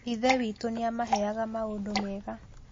Ithe witũ nĩ aamaheaga maũndũ mega.